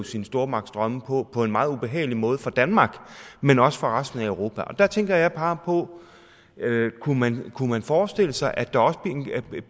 sine stormagtsdrømme på på en meget ubehagelig måde for danmark men også for resten af europa der tænker jeg bare på om man kunne forestille sig at der også